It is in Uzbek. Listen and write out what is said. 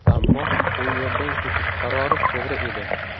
Ammo u yerdan ketish qarori to‘g‘ri edi.